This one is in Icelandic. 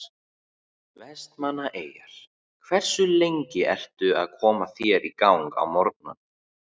Vestmannaeyjar Hversu lengi ertu að koma þér í gang á morgnanna?